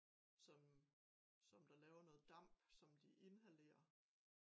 Som som der laver noget damp som de inhalerer